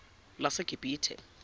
lasegibithe